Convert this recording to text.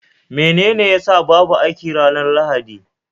Menene ya sa babu aiki ranar Lahadi?